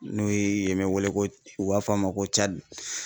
N'o ye yen bɛ wele ko u b'a fɔ a ma ko Cadi.